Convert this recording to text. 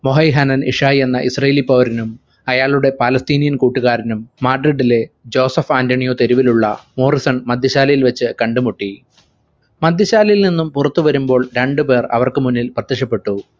വൊഹൈഹനൽ ഇഷായി എന്ന israeli പൗരനും അയാളുടെ palestinian കൂട്ടുകാരനും മാഡ്രിഡിലെ ജോസഫ് ആന്റണിയോ തെരുവിലുളള മോർസൺ മദ്യശാലയിൽ വെച്ച് കണ്ടുമുട്ടി മദ്യശാലയിൽ നിന്നും പുറത്തു വരുമ്പോൾ രണ്ടു പേർ അവർക്കു മുന്നിൽ പ്രത്യക്ഷപ്പെട്ടു